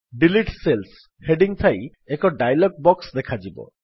delete cells heading ଥାଇ ଏକ dialog box ଦେଖାଯିବ